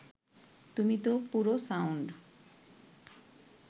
তুমি তো পুরো সাউন্ড